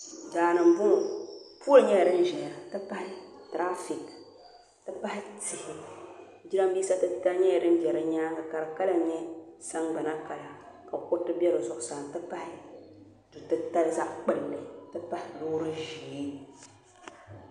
Daani m-bɔŋɔ pooli nyɛla din zaya nti pahi tiraafiiki nti pahi tihi jirambiisa titali nyɛla din be di nyaaŋa ka di kala nyɛ sagbana kala ka kuriti be zuɣusaa nti pahi du' titali zaɣ' kpulli nti pahi loori ʒee